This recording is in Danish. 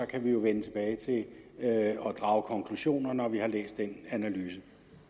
kan vi jo vende tilbage og drage konklusioner når vi har læst den analyse